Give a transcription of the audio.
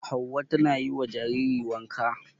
Hauwa tana yi wa jariri wanka.